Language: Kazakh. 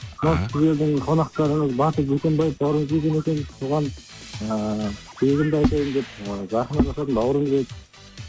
мынау сіздердің қонақтарыңыз батыр жүкембаев бауырым келген екен соған ыыы тілегімді айтайын деп ыыы жақын араласатын бауырымыз еді